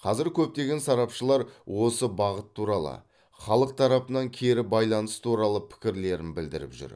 қазір көптеген сарапшылар осы бағыт туралы халық тарапынан кері байланыс туралы пікірлерін білдіріп жүр